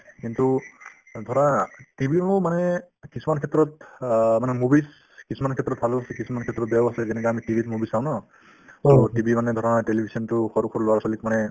কিন্তু অ ধৰা TV ৰ মানে কিছুমান ক্ষেত্ৰত অ মানে movies কিছুমান ক্ষেত্ৰত ভালো আছে কিছুমান ক্ষেত্ৰত বেয়াও আছে যেনেকুৱা আমি TV ত movies চাওঁ ন to TV মানে ধৰা television তো সৰু সৰু ল'ৰা-ছোৱালিক মানে